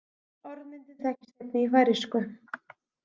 Orðmyndin þekkist einnig í færeysku.